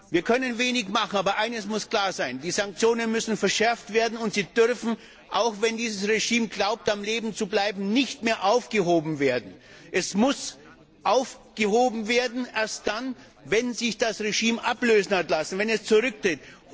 Wir können wenig machen, aber eines muss klar sein Die Sanktionen müssen verschärft werden, und sie dürfen auch wenn dieses Regime glaubt, am Leben zu bleiben nicht mehr aufgehoben werden. Sie dürfen erst dann aufgehoben werden, wenn sich das Regime hat ablösen lassen, wenn es zurücktritt.